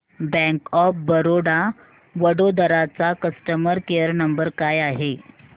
bank of Baroda Vadodara चा customer care number काय आहे